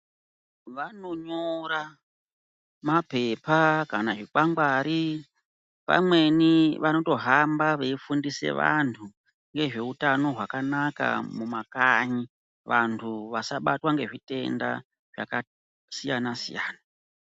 Vanonyora mapepa kana zvikwangwari pamweni vanotohamba veyifundisa vantu ngezveutano hwakanaka mumakanyi vantu vasabatwa ngezvitenda zvakasiyana siyana